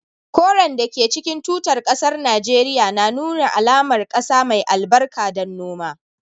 Koren da ke cikin tutar kasar Najeriya na nuna alamar kasa mai albarka don noma